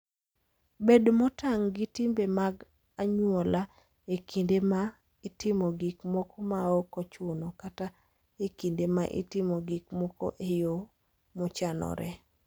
Bed motang' gi timbe mag anyuola e kinde ma itimo gik moko maok ochuno kata e kinde ma itimo gik moko e yo mochanore.